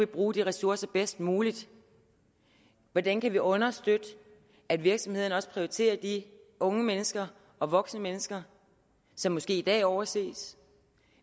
bruge de ressourcer bedst muligt hvordan kan vi understøtte at virksomhederne også prioriterer de unge mennesker og voksne mennesker som måske i dag overses